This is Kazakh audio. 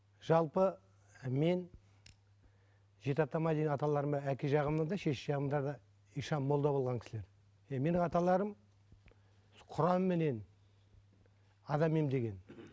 жалпы мен жеті атама дейін аталарым әке жағымда да шеше жағымда да молда болған кісілер иә менің аталарым құранменен адам емдеген